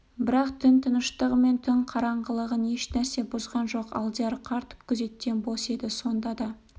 бірақ түн тыныштығы мен түн қараңғылығын ешнәрсе бұзған жоқ алдияр қарт күзеттен бос еді сонда да